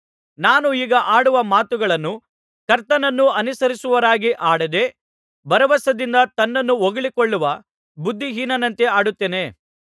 ನಾನು ಈಗ ಆಡುವ ಮಾತುಗಳನ್ನು ಕರ್ತನನ್ನು ಅನುಸರಿಸುವವರಾಗಿ ಆಡದೆ ಭರವಸದಿಂದ ತನ್ನನ್ನು ಹೊಗಳಿಕೊಳ್ಳುವ ಬುದ್ಧಿಹೀನನಂತೆ ಆಡುತ್ತೇನೆ